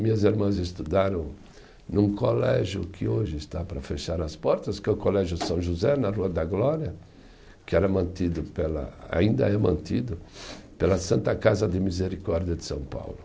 Minhas irmãs estudaram num colégio que hoje está para fechar as portas, que é o Colégio São José, na Rua da Glória, que era mantido pela, ainda é mantido pela Santa Casa de Misericórdia de São Paulo.